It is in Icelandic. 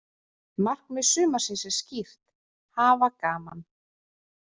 Markmið sumarsins er skýrt: Hafa gaman.